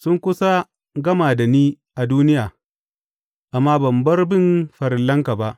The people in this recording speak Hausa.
Sun kusa gama da ni a duniya, amma ban bar bin farillanka ba.